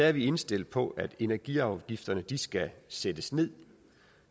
er vi indstillet på at energiafgifterne skal sættes ned